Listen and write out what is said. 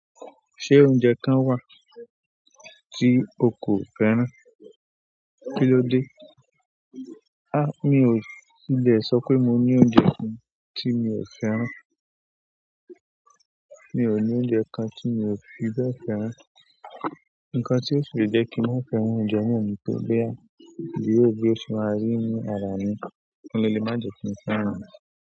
Ṣé oúnjẹ kan wà tí o kò fẹ́ràn? Kí ló dé? À, mi ò ti lè sọ pé mo ní oúnjẹ kan tí mi ò fẹ́ràn. Mi ò ní oúnjẹ kan tí mi ò fi bẹ́ẹ̀ fẹ́ràn. Ǹkan tí ó fi jẹ́ kí n má fẹ́ràn oúnjẹ na ni kó jẹ́ bí ó ti se máa rí nínú ara mi, òhun ló lè má jẹ kí n fẹ́ràn rẹ̀.